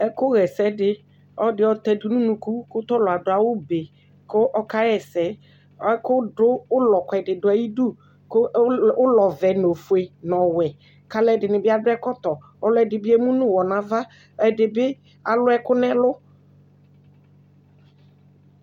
Ɛkʋɣa ɛsɛ dɩ, ɔlɔdɩ ayɔtɛ dʋ nʋ unuku kʋ tʋ ɔlʋ adʋ awʋbe kʋ ɔkaɣa ɛsɛ Ɛkʋdʋ ʋlɔ kʋɛdɩ dʋ ayidu kʋ ʋl ʋlɔvɛ nʋ ofue nʋ ɔwɛ kʋ alʋɛdɩnɩ bɩ adʋ ɛkɔtɔ Ɔlʋɛdɩ bɩ emu nʋ ʋɣɔ nʋ ava Ɛdɩ bɩ alʋ ɛkʋ nʋ ɛlʋ